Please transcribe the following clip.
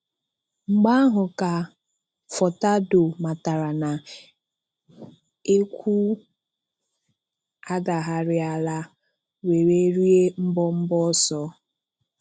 Mgbe ahụ ka Furtado matàrà na ekwù adàghàrị̀alà wèrè rịè mbọ̀mbọ̀ ọsọ.